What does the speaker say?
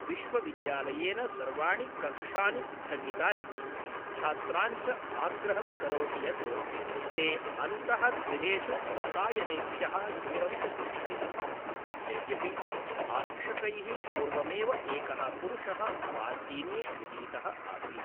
विश्वविद्यालयेन सर्वाणि कक्षानि स्थगितानि, छात्रान् च आग्रहं करोति यत् ते अन्तःगृहेषु वातायनेभ्यः दूरं च तिष्ठन्तु, यद्यपि आरक्षकैः पूर्वमेव एकः पुरुषः स्वाधीने गृहीतः आसीत्।